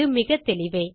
இது மிகத்தெளிவே